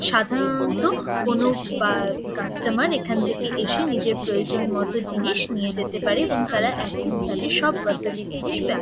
সাধারণত কোন বা কাস্টোমার এখানে থেকে এসে নিজের প্রয়োজন মত জিনিস নিয়ে যেতে পারে এবং তারা একই স্থানে সব গ্রোসারি জিনিস পায়।